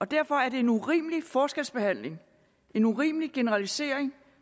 derfor er det en urimelig forskelsbehandling en urimelig generalisering